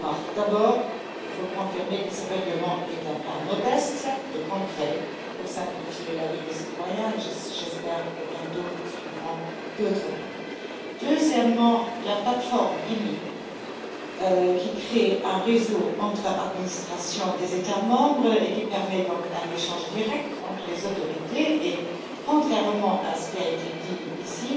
Trois remarques D'abord, il faut confirmer que ce règlement est un pas modeste, certes, mais concret pour simplifier la vie des citoyens, et j'espère que bientôt suivront d'autres pas. Deuxièmement, la plateforme IMI, qui crée un réseau entre les administrations des États membres et permet donc un échange direct entre les autorités, est, contrairement à ce qui a été dit ici,